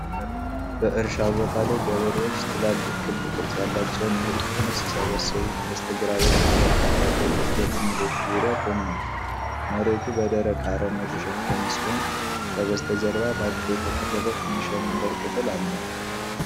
በእርሻ ቦታ ላይ ገበሬዎች ትላልቅ ክብ ቅርጽ ያላቸውን የእህል ክምር ሲሰበስቡ። በስተግራ በኩል በርካታ ከብቶች በክምሮቹ ዙሪያ ቆመዋል። መሬቱ በደረቅ አረም የተሸፈነ ሲሆን፣ ከበስተጀርባ በአጥር የተከለለ ትንሽ የመንደር ክፍል አለ።